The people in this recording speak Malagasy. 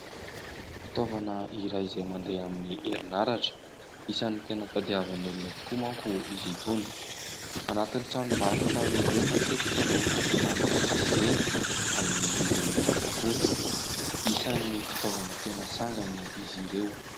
Fitaovana iray izay mandeha amin'ny herinaratra, isan'ny tena tadiavan'ny olona tokoa manko izy itony ; anatin'ny tranom-barotra lehibe matetika no ahitana azy ireny amin'ny vidiny mirary tokoa. Isan'ny fitaovana tena sangany izy ireo.